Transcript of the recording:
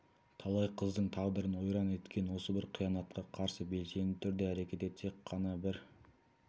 талай қыздың тағдырын ойран еткен осы бір қиянатқа қарсы белсенді түрде әрекет етсек қана бір